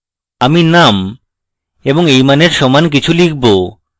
আমি name এবং এই মানের সমান কিছু লিখব